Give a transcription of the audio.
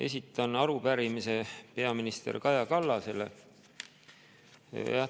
Esitan arupärimise peaminister Kaja Kallasele.